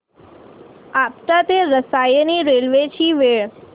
आपटा ते रसायनी रेल्वे ची वेळ